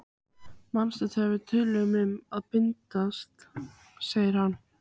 Manstu þegar við töluðum um að bindast, segir hann.